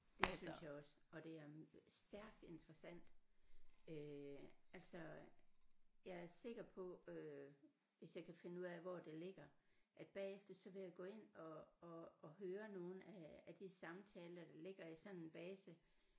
Det synes jeg også og det er stærkt interessant øh altså jeg er sikker på øh hvis jeg kan finde ud af hvor det ligger at bagefter så vil jeg gå ind og og og høre nogle af af de samtaler der ligger i sådan en base